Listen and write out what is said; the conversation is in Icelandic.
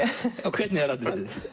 hvernig er atriðið